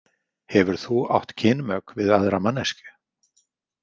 Hefur þú átt kynmök við aðra manneskju?